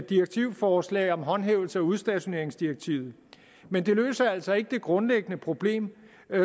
direktivforslag om håndhævelse af udstationeringsdirektivet men det løser altså ikke det grundlæggende problem